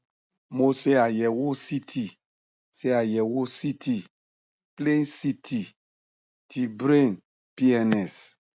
mo ṣe àyẹwò ct ṣe àyẹwò ct plain ct ti brain pns